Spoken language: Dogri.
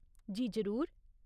जी, जरूर।